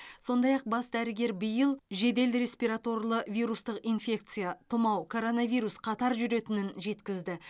сондай ақ бас дәрігер биыл жедел респираторлы вирустық инфекция тұмау коронавирус қатар жүретінін жеткізді